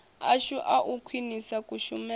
ashu a u khwinisa kushumele